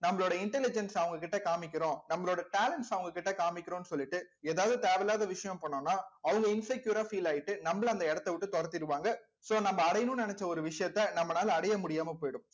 நம்மளோட intelligence அ அவங்க கிட்ட காமிக்கிறோம் நம்மளோட talents அவங்க கிட்ட காமிக்கிறோம்ன்னு சொல்லிட்டு ஏதாவது தேவையில்லாத விஷயம் பண்ணோம்னா அவங்க insecure ஆ feel ஆயிட்டு நம்மளை அந்த இடத்தை விட்டு துரத்திருவாங்க so நம்ம அடையணும்ன்னு நினைச்ச ஒரு விஷயத்த நம்மளால அடைய முடியாம போயிடும்